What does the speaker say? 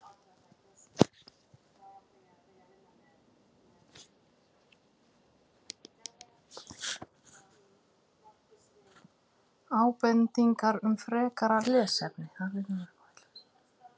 Ábendingar um frekara lesefni: